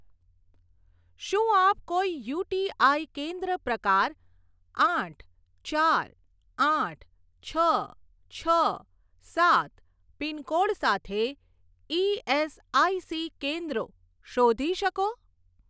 શું આપ કોઈ યુટીઆઈ કેન્દ્ર પ્રકાર આઠ ચાર આઠ છ છ સાત પિનકોડ સાથે ઇએસઆઇસી કેન્દ્રો શોધી શકો?